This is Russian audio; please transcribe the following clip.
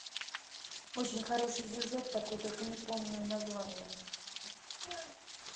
очень хороший сюжет такой только не помню названия